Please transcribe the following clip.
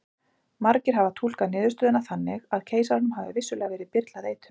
Margir hafa túlkað niðurstöðuna þannig að keisaranum hafi vissulega verið byrlað eitur.